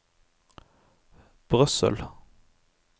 Brussel